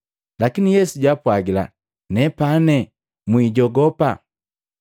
Lakini Yesu jaapwagila, “Nepane, mwijogopa!”